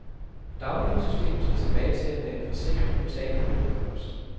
Dagpengesystemet skal tilbage til at være en forsikring mod tab af lønindkomst.